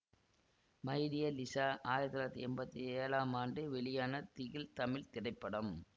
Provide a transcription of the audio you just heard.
my dear Lisa ஆயிரத்தி தொள்ளாயிரத்தி எம்பத்தி ஏழாம் ஆண்டு வெளியான திகில் தமிழ் திரைப்படம்